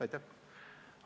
Aitäh!